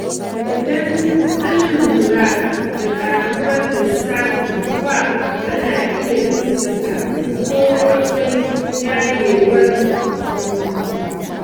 Idan an lura da ƙaruwar lissafin ruwa, ana iya bincika ko akwai yayyewar bututu.